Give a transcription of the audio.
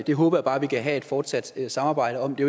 det håber jeg bare at vi kan have et fortsat samarbejde om det